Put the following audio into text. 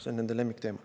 See on nende lemmikteema.